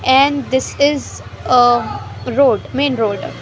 And this is a road main road.